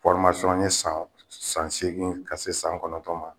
n ye san san segin ka se san kɔnɔntɔn ma